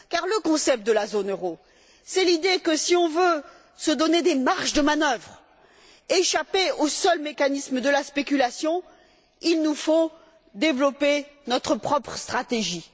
Car le concept de zone euro, c'est l'idée que, si l'on veut se donner des marges de manœuvre, échapper au seul mécanisme de la spéculation, il nous faut développer notre propre stratégie.